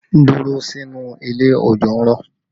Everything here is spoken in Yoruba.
Dúró sínú ilé! Òjò ń rọ̀!